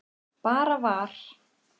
Bara var.